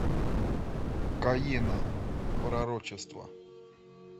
каена пророчество